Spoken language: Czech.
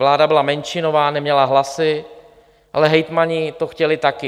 Vláda byla menšinová, neměla hlasy, ale hejtmani to chtěli také.